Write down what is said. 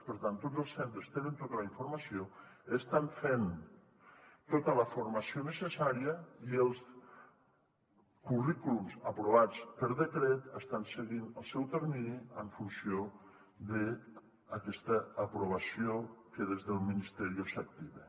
per tant tots els centres tenen tota la informació estan fent tota la formació necessària i els currículums aprovats per decret estan seguint el seu termini en funció d’aquesta aprovació que des del ministerio s’activa